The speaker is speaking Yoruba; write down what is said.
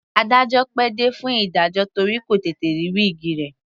Adájọ́ pẹ́ dé fún ìdájọ́ torí kò tètè rí wíìgi rẹ̀.